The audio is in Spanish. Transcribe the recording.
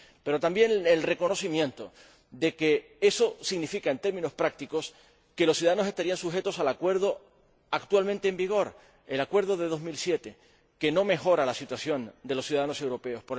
Pero también se reconoce que eso significa, en términos prácticos, que los ciudadanos estarían sujetos al acuerdo actualmente en vigor el acuerdo de 2007 que no mejora la situación de los ciudadanos europeos.